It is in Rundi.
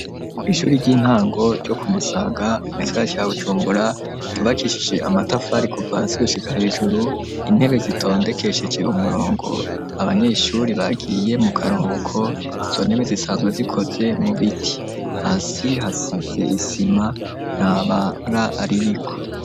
Kw’ishuri ry'intango ryo kumusaga mu gisagara ca bujumbura ryubakishije amatafari kuva hasi gushika hejuru ,intebe zitondekesheje umurongo ,abanyeshuri bagiye mu karuhuko izo ntebe zisanzwe zikoze mu biti, hasi hasize isima ntabara aririko.